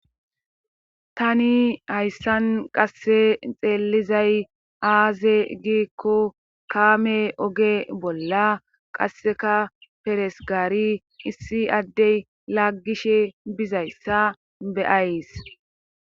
Tani hayssan qasse xeelizay aaze giikko kaame oge bolla qasseka peresgaari issi addey laggishe bizayssa beyays.